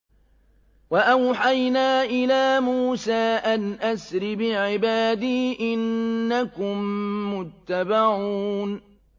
۞ وَأَوْحَيْنَا إِلَىٰ مُوسَىٰ أَنْ أَسْرِ بِعِبَادِي إِنَّكُم مُّتَّبَعُونَ